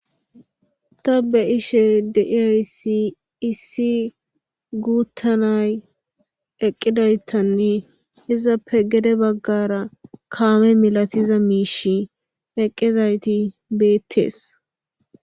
ta be ishe deiaysi issi guuttanay eqqidaytanne izappe gede baggara kaame milatiza miish eqqezayti beettees